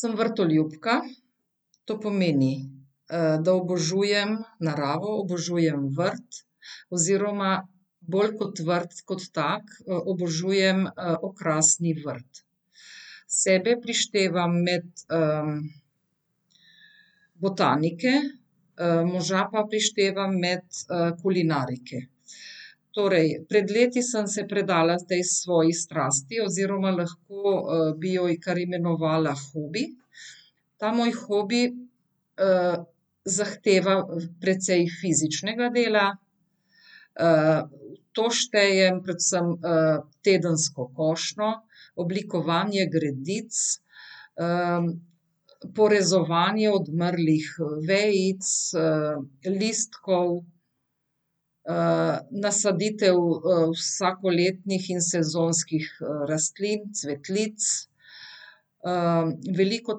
Samo vrtoljubka. To pomeni, da obožujem naravo, obožujem vrt oziroma bolj kot vrt kot tak, obožujem, okrasni vrt. Sebe prištevam med, botanike, moža pa prištevam med, kulinarike. Torej pred leti sem se predala tej svoji strasti oziroma lahko, bi jo kar imenovala hobi. Ta moj hobi, zahteva, precej fizičnega dela. v to štejem predvsem, tedensko košnjo, oblikovanje gredic, porezovanje odmrlih, vejic, listkov. nasaditev, vsakoletnih in sezonskih, rastlin, cvetlic. veliko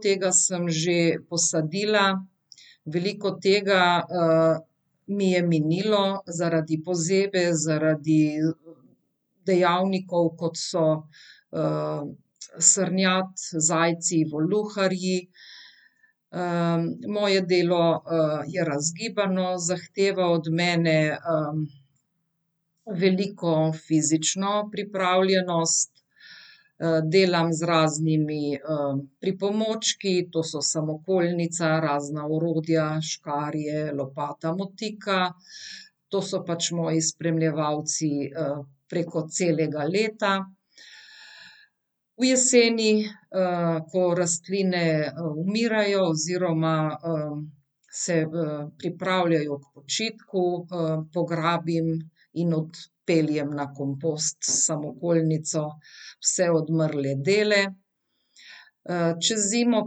tega sem že posadila, veliko tega, mi je minilo zaradi pozebe, zaradi dejavnikov, kot so, srnjad, zajci, voluharji. moje delo, je razgibano, zahteva od mene, veliko fizično pripravljenost, delam z raznimi, pripomočki, to so samokolnica, razna orodja, škarje, lopata, motika. To so pač moji spremljevalci, preko celega leta. V jeseni, ko rastline, umirajo oziroma se v pripravljajo k počitku, pograbim in odpeljem na kompost s samokolnico vse odmrle dele, čez zimo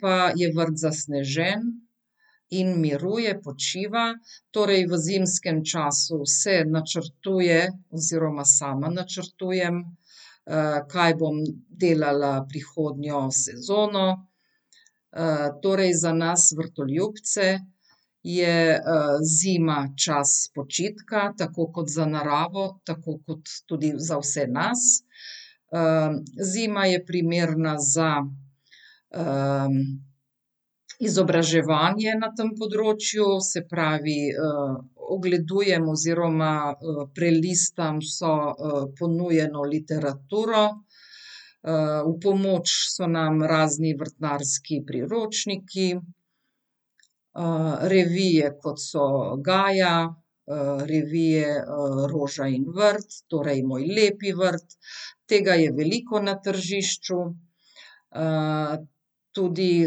pa je vrt zasnežen in miruje, počiva, torej v zimskem času se načrtuje oziroma sama načrtujem, kaj bom delala prihodnjo sezono. torej za nas vrtoljubce je, zima čas počitka, tako kot za naravo, tako kot tudi za vse nas. zima je primerna za, izobraževanje na tem področju, se pravi, ogledujemo oziroma, prelistam vso, ponujeno literaturo. v pomoč so nam razni vrtnarski priročniki. revije, kot so Gaja, revije Roža in vrt, torej Moj lepi vrt, tega je veliko na tržišču. tudi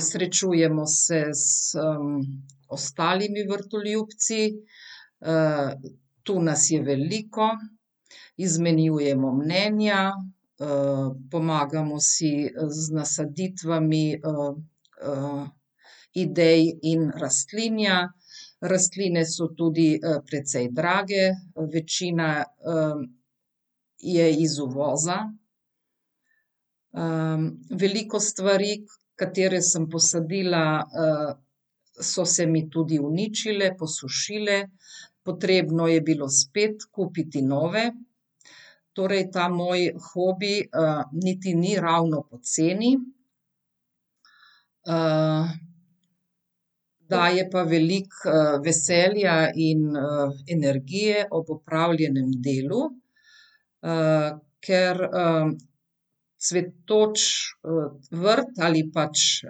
srečujemo se z, ostalimi vrtoljubci. tu nas je veliko, izmenjujemo mnenja, pomagamo si z nasaditvami, idej in rastlinja. Rastline so tudi, precej drage. Večina je iz uvoza, veliko stvari, katere sem posadila, so se mi tudi uničile, posušile. Potrebno je bilo spet kupiti nove, torej ta moj hobi, niti ni ravno poceni. daje pa veliko, veselja in, energije ob opravljenem delu, ker, cvetoč, vrt ali pač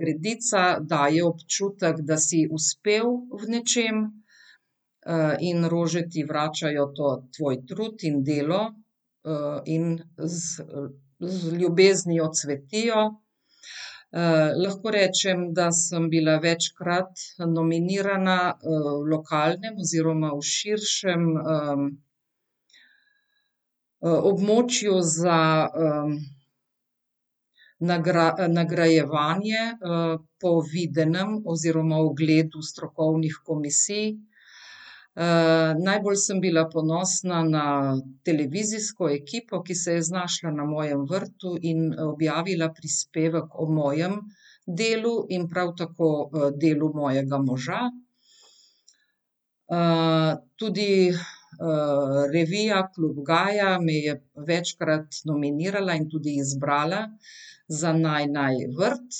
gredica daje občutek, da si uspel v nečem. in rože ti vračajo to, tvoj trud in delo. in z, z ljubeznijo cvetijo. lahko rečem, da sem bila večkrat nominirana, v lokalnem oziroma v širšem, območju za, nagrajevanje, po videnem oziroma ogledu strokovnih komisij. najbolj sem bila ponosna na televizijsko ekipo, ki se je znašla na mojem vrtu in, objavila prispevek o mojem delu in prav tako, delu mojega moža. tudi, revija Klub Gaja me je večkrat nominirala in tudi izbrala za naj naj vrt.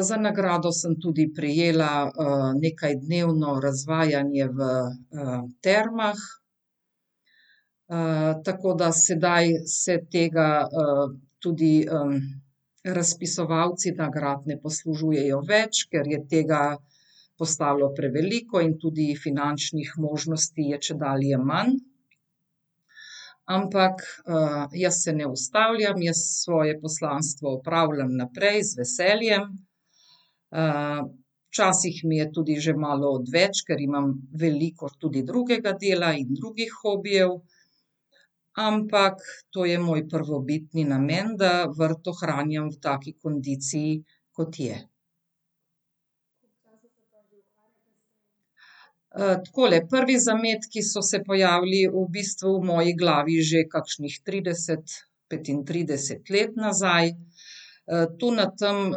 za nagrado sem tudi prejela, nekajdnevno razvajanje v, termah. tako da sedaj se tega, tudi, razpisovalci nagrad ne poslužujejo več, ker je tega postalo preveliko in tudi finančnih možnosti je čedalje manj. Ampak, jaz se ne ustavljam, jaz svoje poslanstvo upravljam naprej, z veseljem. včasih mi je tudi že malo odveč, ker imam veliko tudi drugega dela in drugih hobijev. Ampak to je moj prvobitni namen, da vrt ohranjam v taki kondiciji, kot je. takole, prvi zametki so se pojavili v bistvu v moji glavi že kakšnih trideset, petintrideset let nazaj. tu na tam,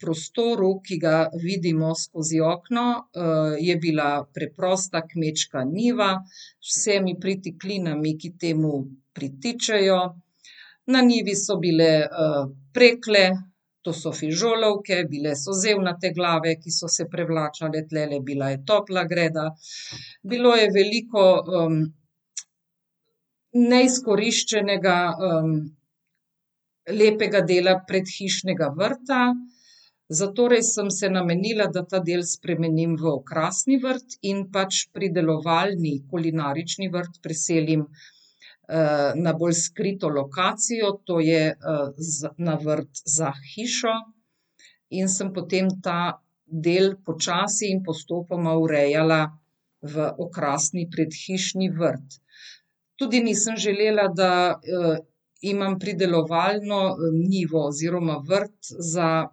prostoru, ki ga vidimo skozi okno, je bila preprosta kmečka njiva. Z vsemi pritiklinami, ki temu pritičejo. Na njivi so bile, prekle, to so fižolovke, bile so zeljnate glave, ki so se prevračale tulele, bila je topla greda bilo je veliko, neizkoriščenega, lepega dela predhišnega vrta. Zatorej sem se namenila, da ta del spremenim v okrasni vrt in pač pridelovalni, kulinarični vrt preselim, na bolj skrito lokacijo, to je, na vrt za hišo. In sem potem ta del počasi in postopoma urejala v okrasni predhišni vrt. Tudi nisem želela, da, imam pridelovalno, njivo oziroma vrt za,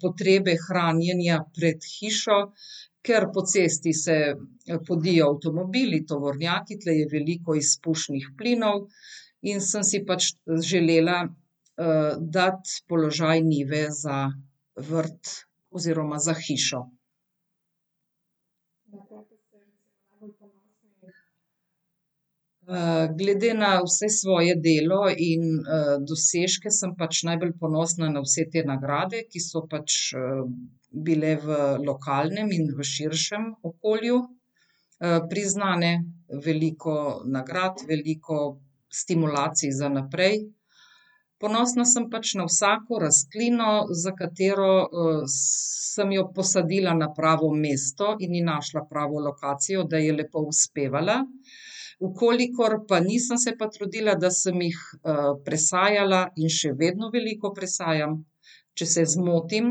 potrebe hranjenja pred hišo, ker po cesti se, podijo avtomobili, tovornjaki, tule je veliko izpušnih plinov in sem si pač želela, dati položaj njive za vrt oziroma za hišo. glede na vse svoje delo in, dosežke sem pač najbolj ponosna na vse te nagrade, ki so pač, bile v lokalnem in v širšem okolju, priznane, veliko nagrad, veliko stimulacij za naprej. Ponosna sem pač na vsako rastlino, za katero, sem jo posadila na pravo mesto in je našla pravo lokacijo, da je lepo uspevala. V kolikor pa nisem, se pa trudila, da sem jih, presajala in še vedno veliko presajam, če se zmotim,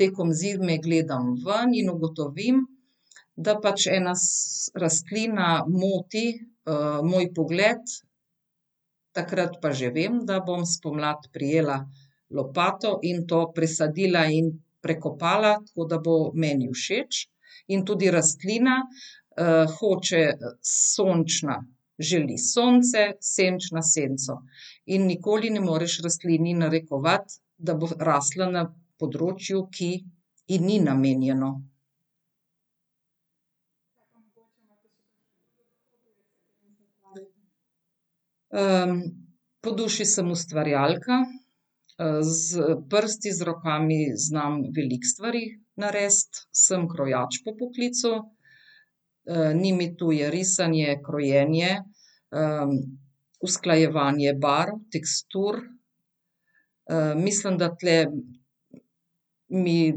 tekom zime gledam ven in ugotovim, da pač ena rastlina moti, moj pogled, takrat pa že vem, da bom spomladi prijela lopato in to presadila in prekopala, tako da bo meni všeč. In tudi rastlina, hoče sončna želi sonce, senčna senco. In nikoli ne moreš rastlini narekovati, da bo rasla na področju, ki ji ni namenjeno. po duši sem ustvarjalka. s prsti, z rokami znam veliko stvari narediti. Sem krojač po poklicu. ni mi tuje risanje, krojenje, usklajevanje barv, tekstur. mislim, da tule mi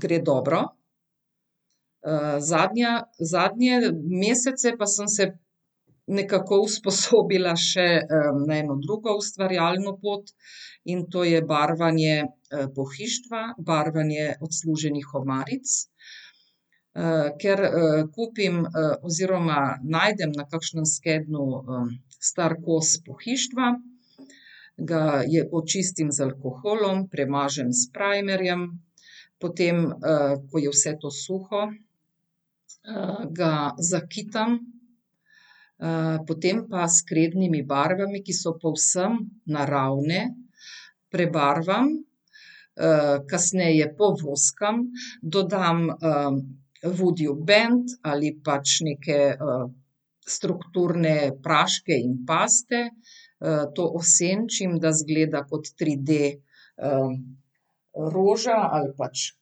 gre dobro. zadnja, zadnje mesece pa sem se nekako usposobila še, na eno drugo ustvarjalno pot in to je barvanje, pohištva, barvanje odsluženih omaric. ker, kupim, oziroma najdem na kakšnem skednju, star kos pohištva, ga očistim za alkoholom, premažem s primerjem, potem, ko je vse to suho, ga zakitam, potem pa s krednimi barvami, ki so povsem naravne, prebarvam, kasneje povoskam, dodam, vodijobend ali pač neke strukturne praške in paste. to osenčim, da izgleda kot triD, roža ali pač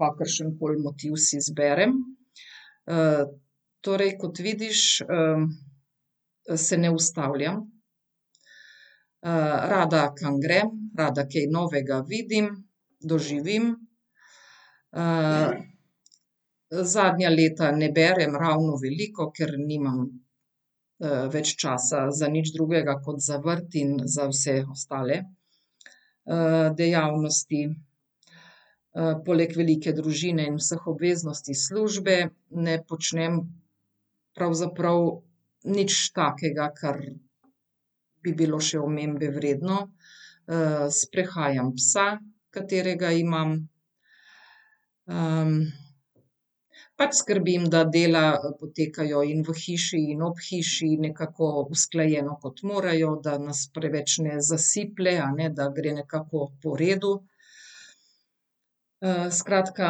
kakršnokoli motiv si izberem, torej, kot vidiš, se ne ustavljam, rada kam grem, rada kaj novega vidim, doživim, zadnja leta ne berem ravno veliko, ker nimam, več časa za nič drugega kot za vrt in za vse ostale, dejavnosti. poleg velike družine in vseh obveznosti, službe ne počnem pravzaprav nič takega, kar bi bilo še omembe vredno. sprehajam psa, katerega imam. pač skrbim, da dela potekajo in v hiši in ob hiši in nekako usklajeno, kot morajo, da nas preveč ne zasiplje, a ne, da gre nekako po redu. skratka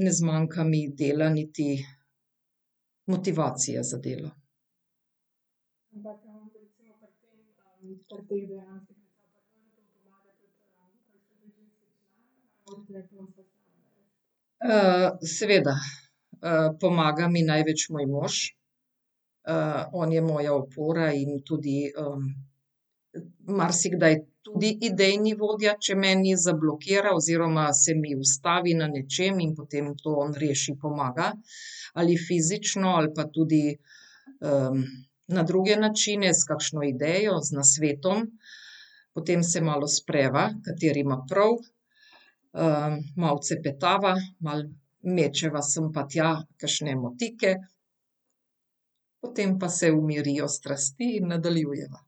ne zmanjka mi dela, niti motivacije za delo. seveda, pomaga mi največ moj mož. on je moja opora in tudi, marsikdaj tudi idejni vodja, če meni zablokira oziroma se mi ustavi na nečem in potem to on reši, pomaga. Ali fizično ali pa tudi, na druge načine, s kakšno idejo, z nasvetom. Potem se malo spreva, kateri ima prav. malo cepetava, malo mečeva sem pa tja kakšne motike, potem pa se umirijo strasti in nadaljujeva.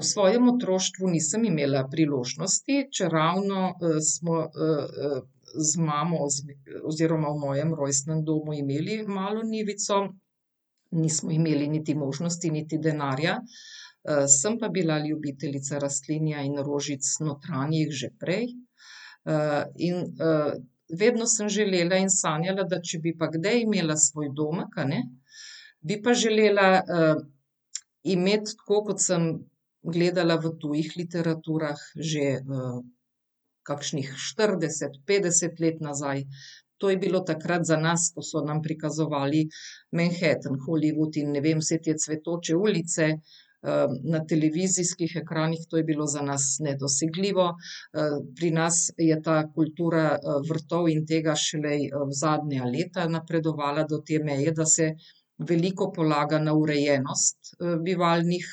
v svojem otroštvu nisem imela priložnosti, čeravno, smo, z mamo oziroma v mojem rojstnem domu imeli malo njivico. Nismo imeli niti možnosti, niti denarja. sem pa bila ljubiteljica rastlinja in rožic notranjih že prej. in, vedno sem želela in sanjala, da če bi pa kdaj imela svoj domek, a ne, bi pa želela, imeti tako kot sem gledala v tujih literaturah že, kakšnih štirideset, petdeset let nazaj. To je bilo takrat za nas, ko so nam prikazovali Manhattan, Hollywood in ne vem, vse te cvetoče ulice, na televizijskih ekranih. To je bilo za nas nedosegljivo. pri nas je ta kultura, vrtov in tega šele zadnja leta napredovala do te meje, da se veliko polaga na urejenost, bivalnih,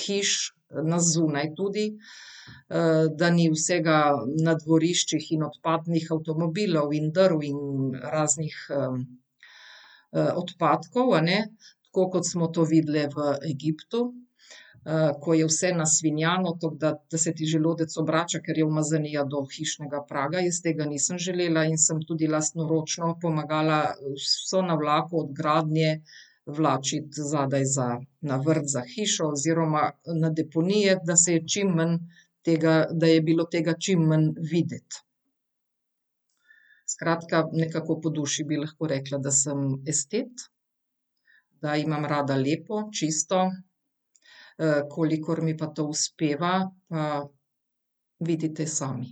hiš, na zunaj tudi. da ni vsega na dvoriščih in odpadnih avtomobilov in drv in raznih, odpadkov, a ne. Tako kot smo to videli v Egiptu. ko je vse nasvinjano, tako da, da se ti želodec obrača, ker je umazanija do hišnega praga, jaz tega še nisem želela in sem tudi lastnoročno pomagala vso navlako od gradnje vlačiti zadaj za, na vrt, za hišo. Oziroma na deponije, da se je čimmanj tega, da je bilo tega čim manj videti. Skratka, nekako po duši bi lahko rekla, da sem estet. Da imam rada lepo, čisto, kolikor mi to uspeva, pa vidite sami.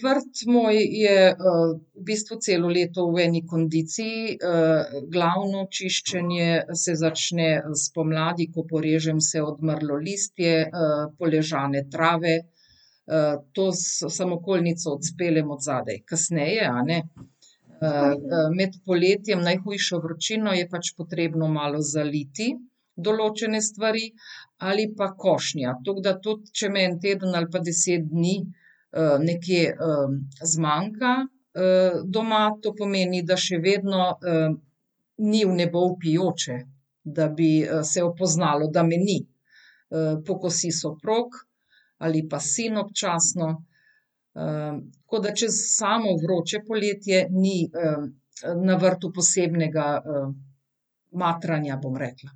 vrt moj je, v bistvu celo leto v eni kondiciji. glavno čiščenje se začne spomladi, ko porežem vse odmrlo listje. poležane trave. to s samokolnico odzadaj kasneje, a ne. med poletjem, najhujšo vročino je pač potrebno malo zaliti določene stvari ali pa košnja. Tako da tudi če me en teden ali pa deset dni, nekje, zmanjka, doma to pomeni, da še vedno, ni v nebo vpijoče, da bi, se poznalo, da me ni. pokosi soprog ali pa sin občasno. tako da čez samo vroče poletje ni, na vrtu posebnega matranja, bom rekla.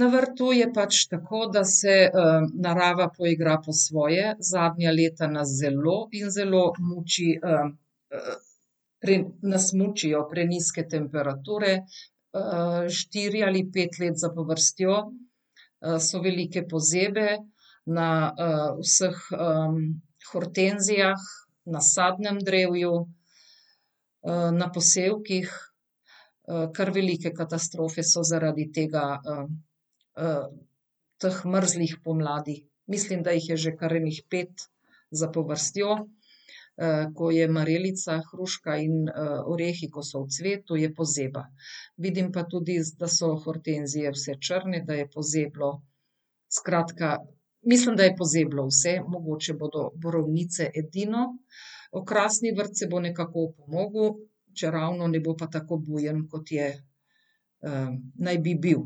Na vrtu je pač tako, da se, narava poigra po svoje, zadnja leta nas zelo in zelo muči, nas mučijo prenizke temperature, štiri ali pet let zapovrstjo. so velike pozebe, na, vseh, hortenzijah, na sadnem drevju. na posevkih, kar velike katastrofe so zaradi tega. teh mrzlih pomladi. Mislim, da jih je že kar ene pet zapovrstjo. ko je marelica, hruška in, orehi, ko so v cvetu, je pozeba. Vidim pa tudi, da so hortenzije vse črne, da je pozeblo, skratka, mislim, da je pozeblo vse. Mogoče bodo borovnice edino. Okrasni vrt se bo nekako opomogel, če ravno ne bo pa tako bujen, kot je, naj bi bil.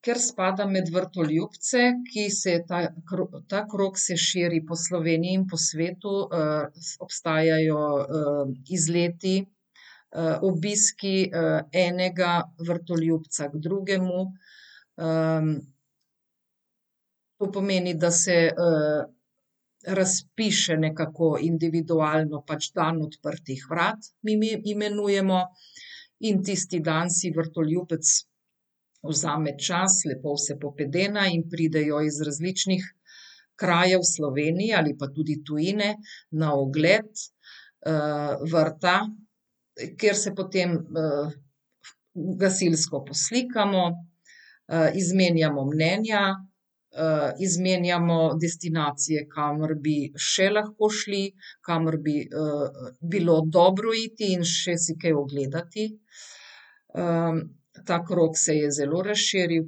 ker spadam med vrtoljubce, ki se ta ta krog se širi po Sloveniji in po svetu, obstajajo, izleti, obiski, enega vrtoljubca k drugemu. to pomeni, da se, razpiše nekako individualno pač dan odprtih vrat, mi imenujemo. In tisti dan si vrtoljubec vzame čas, lepo vse popedena in pridejo iz različnih krajev v Sloveniji ali pa tudi tujine, na ogled, vrta, ker se potem, gasilsko poslikamo, izmenjamo mnenja, izmenjamo destinacije, kamor bi še lahko šli, kamor bi, bilo dobro iti in še si kaj ogledati. ta krog se je zelo razširil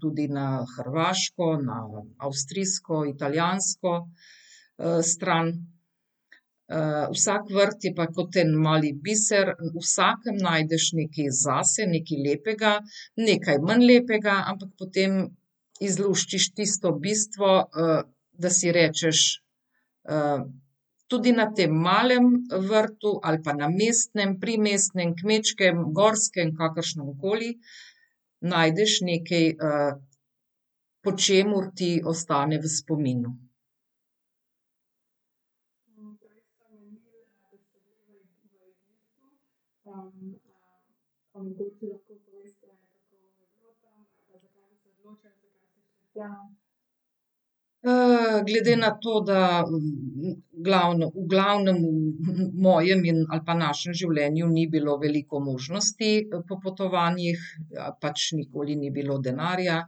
tudi na hrvaško, na avstrijsko, italijansko, stran. vsak vrt je pa kot en mali biser. V vsakim najdeš nekaj zase, nekaj lepega, nekaj manj lepega, ampak potem izluščiš tisto bistvo, da si rečeš, tudi na tem malem vrtu ali pa mestnem, primestnem, kmečkem, gorskem, kakršnemkoli, najdeš nekaj, po čemur ti ostane v spominu. glede na to, da, v v glavnem, mojem ali pa našem življenju ni bilo veliko možnosti, po potovanjih. Pač nikoli ni bilo denarja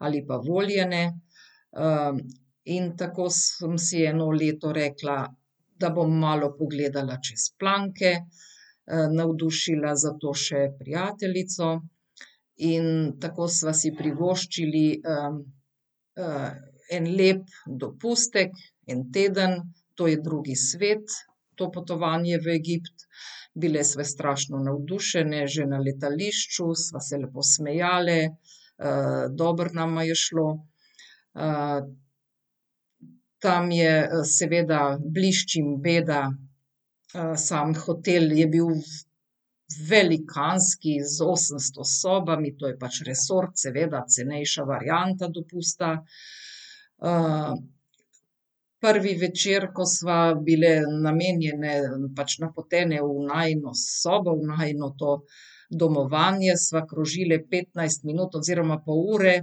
ali pa volje ne. in tako sem si eno leto rekla, da bom malo pogledala čez planke. navdušila za to še prijateljico in tako sva si privoščili en lep dopustek, en teden. To je drugi svet. To potovanje v Egipt. Bile sva strašno navdušeni, že na letališču sva se lepo smejali, dobro nama je šlo, tam je, seveda blišč in beda. sam hotel je bil velikanski, z osemsto sobami, to je pač resort, seveda, cenejša varianta dopusta. prvi večer, ko sva bile namenjeni, pač napoteni v najino sobo, v najino to domovanje, sva krožili petnajst minut oziroma pol ure,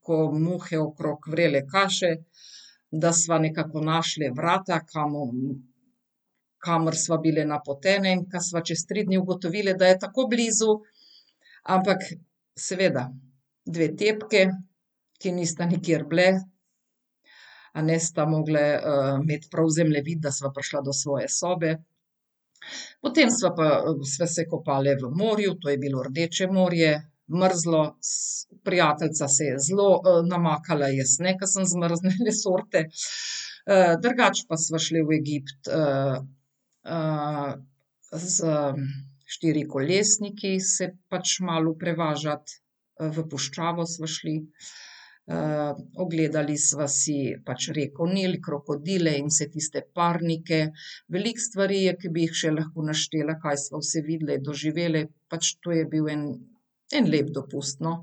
ko muhe okrog vrele kaše, da sva nekako našli vrata, kamor sva bile napoteni. In ko sva čez tri dni ugotovile, da je tako blizu, ampak seveda dve tepki, ki nista nikjer bili, a ne, sta mogli, imeti prav zemljevid, da sva prišli do svoje sobe. Potem sva pa, sva se kopali v morju, to je bilo Rdeče morje, mrzlo se prijateljica se je zelo namakala, jaz ne, ker sem zmrznjene sorte, drugače pa sva šli v Egipt, s, štirikolesniki se pač malo prevažat. v puščavo sva šli. ogledali sva si pač rekel Nil, krokodile in vse tiste parnike. Veliko stvari je, ke bi jih še lahko naštela, kaj sva vse videli, doživeli, pač to je bil en, en lep dopust, no.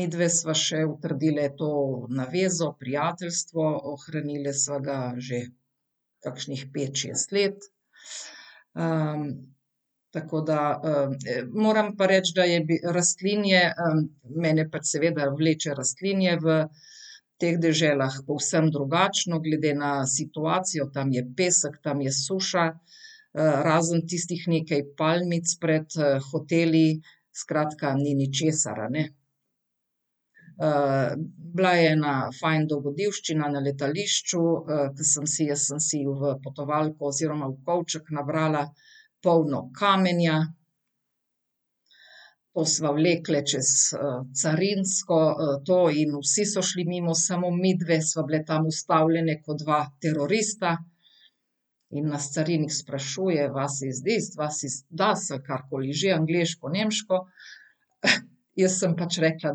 midve sva še utrdili to navezo, prijateljstvo, ohranili sva ga že kakšnih pet, šest let. tako da, moram pa reči, da je rastlinje, mene pač seveda vleče rastlinje v teh deželah, povsem drugačno, glede na situacijo, tam je pesek, tam je suša. razen tistih nekaj palmic pred, hoteli. Skratka ni ničesar, a ne. bila je ena fajn dogodivščina na letališču, sem si jaz sem si v potovalko oziroma v kovček nabrala polno kamenja. Ko sva vlekli čez, carinsko, to in vsi so šli mimo, samo midve sva bili tam ustavljeni kot dva terorista. In nas carinik sprašuje: "Was is this, was ist das," ali karkoli že, angleško, nemško. Jaz sem pač rekla: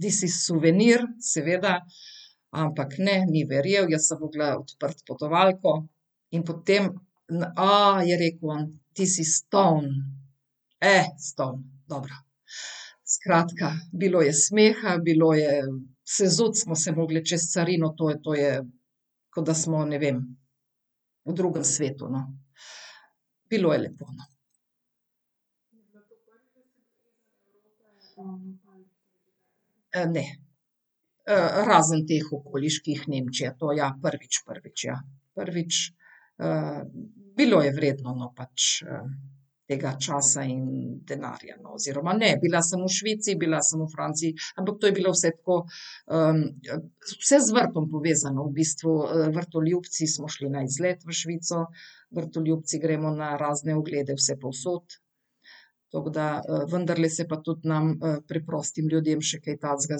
"This is souvenir," seveda, ampak ne, ni verjel, jaz sem mogla odpreti potovalko in potem na, je rekel: "This is stone, stoun," dobro. Skratka, bilo je smeha, bilo je, sezuti smo se mogli čez carino, to, to je, kot da smo, ne vem, v drugem svetu, no. Bilo je lepo, no. ne. razen teh okoliših, Nemčija, to ja, prvič, prvič, ja. Prvič, bilo je vredno, no, pač tega časa in denarja, no. Oziroma ne, bila sem v Švici, bila sem v Franciji, ampak to je bilo vse tako, vse z vrtom povezano v bistvu. Vrtoljubci smo šli na izlet v Švico, vrtoljubci gremo na razne oglede vsepovsod. Tako da, vendarle se pa tudi nam, preprostim ljudem še kaj takega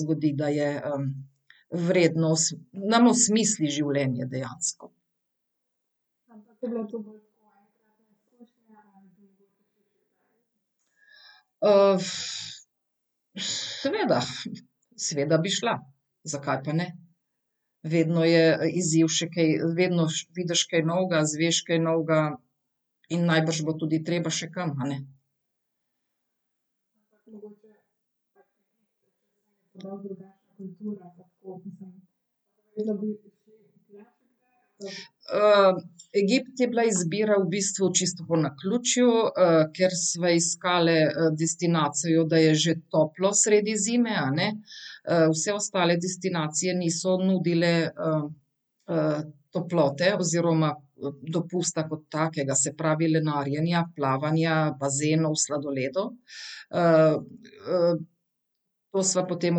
zgodi, da je, vredno, nam osmisli življenje dejansko. seveda, seveda bi šla. Zakaj pa ne? Vedno je, izziv še kaj vedno vidiš kaj novega, izveš kaj novega. In najbrž bo tudi še treba kam, a ne. Egipt je bila izbira v bistvu čisto po naključju, ker sva iskali, destinacijo, da je že toplo sredi zime, a ne. vse ostale destinacije niso nudile, toplote oziroma dopusta kot takega, se pravi lenarjenja, plavanja, bazenov, sladoledov, to sva potem